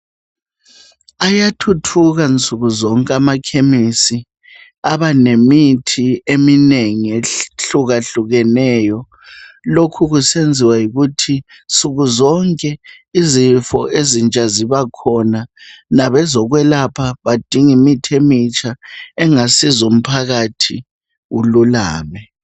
Ayathuthuka nsuku zonke amakhemisi abanemithi eminengi ehlukahlukeneyo lokho kusenziwa yikuthi nsukuzonke izifo ezintsha zibakhona labezokwelapha badinga imithi emitsha engasiza umphakathi ululame.